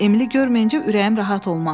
Emili görməyincə ürəyim rahat olmaz.